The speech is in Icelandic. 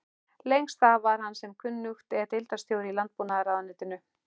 Lengst af var hann sem kunnugt er deildarstjóri í landbúnaðarráðuneytinu.